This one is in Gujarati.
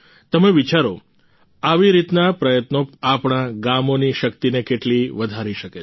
તમે વિચારો આવી રીતના પ્રયત્નો આપણા ગામોની શક્તિને કેટલી વધારી શકે છે